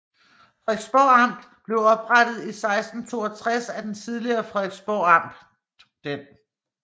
Frederiksborg Amt blev oprettet i 1662 af det tidligere Frederiksborg Len